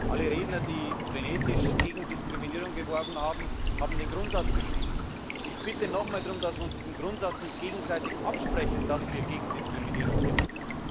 Alle Redner, die frenetisch gegen Diskriminierung gesprochen haben, haben den Grundsatz beschrieben. Ich bitte nochmals darum, dass wir uns nicht gegenseitig diesen Grundsatz absprechen, dass wir gegen Diskriminierung kämpfen.